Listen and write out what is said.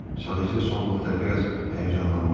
Sadəcə son vaxtlar biraz həyəcanlanmışam.